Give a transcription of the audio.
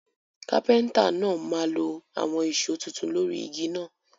Carpenter náà máa lo àwon ìso tuntun lórí igi náà